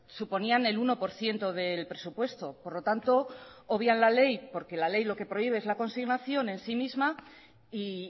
suponían el uno por ciento del presupuesto por lo tanto obvian la ley porque la ley lo que prohíbe es la consignación en sí misma y